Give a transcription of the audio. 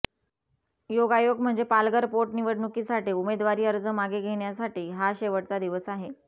योगायोग म्हणजे पालघर पोटनिवडणुकीसाठी उमेदवारी अर्ज मागे घेण्यासाठी हा शेवटचा दिवस आहे